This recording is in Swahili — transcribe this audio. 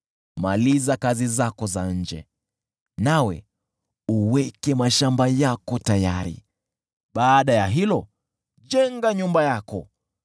Maliza kazi zako za nje, nawe uweke mashamba yako tayari, baada ya hayo, jenga nyumba yako.